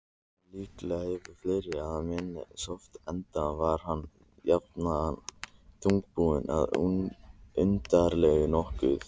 En líklega hefur fleira að manninum sorfið, enda var hann jafnan þungbúinn og undarlegur nokkuð.